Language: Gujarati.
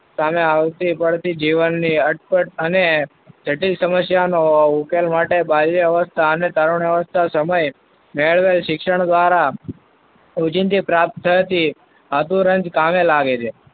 સામે આવતી પડતી જીવનને અને જટિલ સમસ્યાઓનો ઉકેલ માટે માન્ય અવસ્થા અને તરુણા અવસ્થા સમયે મેળવેલ શિક્ષણ દ્વારા રોજીંદી પ્રાપ્ત થતી અધુરંજ કામે લાગે છે.